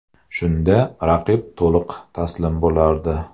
Shunda raqib to‘liq taslim bo‘lardi.